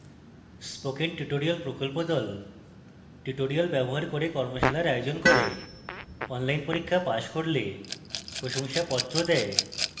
spoken tutorial প্রকল্পর the spoken tutorial ব্যবহার করে কর্মশালা পরিচালনা করে যারা online পরীক্ষা pass করে তাদের certificates দেয়